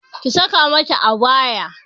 Ki sa ka mata abaya!